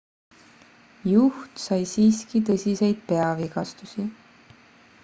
juht sai siiski tõsiseid peavigastusi